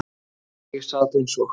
Þegar ég sat eins og